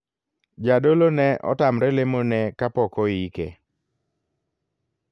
Jadolo ne otamre lemo ne kapok oike.